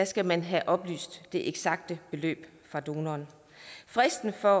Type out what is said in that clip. skal man have oplyst det eksakte beløb fra donoren fristen for